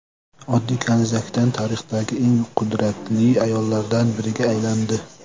Oddiy kanizakdan tarixdagi eng qudratli ayollardan biriga aylandi.